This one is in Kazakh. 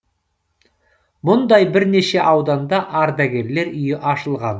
мұндай бірнеше ауданда ардагерлер үйі ашылған